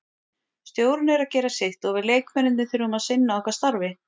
Stjórinn er að gera sitt og við leikmennirnir þurfum að sinna okkar starfi.